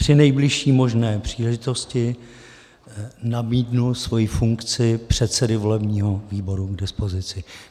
Při nejbližší možné příležitosti nabídnu svoji funkci předsedy volebního výboru k dispozici.